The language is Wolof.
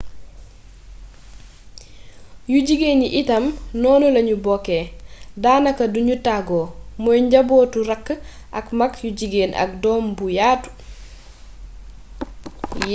yu jigéen yi itam noonu lañu bokkee daanaka duñu tàggoo muy njabootu raak ak maag yu jigéen ak doom bu yaatu